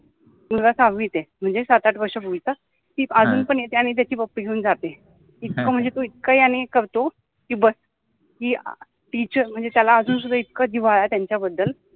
मुलगा सहावित आहे, म्हनजे सात आठ वर्ष म्हनता ति अजुन पन येते आणि त्याचि पप्पि घेउन जाते इतका मनजे तो इतका याने हे करतो कि बस टिचर मनजे त्याला अजुंसुद्धा इतका जिव्हाळा आहे त्यांच्याबद्दल